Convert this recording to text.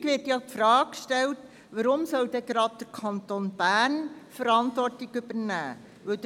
Häufig wird die Frage gestellt, warum gerade der Kanton Bern Verantwortung übernehmen solle.